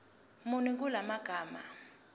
muni kula magama